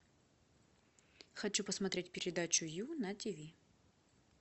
хочу посмотреть передачу ю на тиви